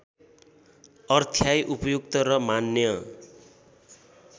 अर्थ्याई उपयुक्त र मान्य